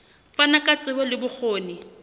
fana ka tsebo le bokgoni